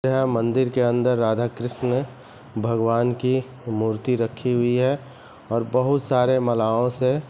मंदिर के अंदर राधा कृष्ण भगवान की मूर्ति रखी हुई है और बहुत सारे मालाओं से--